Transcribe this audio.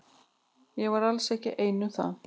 Ég var alls ekki ein um það.